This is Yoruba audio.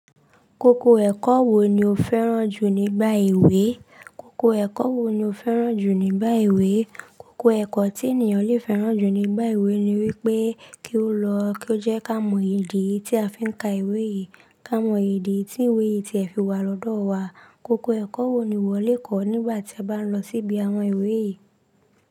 Kókó ẹ̀kọ́ wo ni o fẹ́ràn jù nígbà èwe? Koko ẹ̀kọ́ wo ni o fẹ́ràn jù nígbà ìwé? Koko ẹ̀kọ́ tí ènìyàn le fẹ́ràn jù nígbà èwe ni wípé kí ó lọ, kí ó jẹ́ ká mọ èdè tí a fi ń ka ìwé yìí, ká mọ èdè tí ìwé yìí tí ẹ fi wà lọ́dọ̀ wa. Koko ẹ̀kọ́ wo ni ìwọ le kọ̀ nígbà tí a bá ń lọ síbi àwọn ìwé yìí?